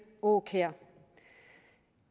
aakjær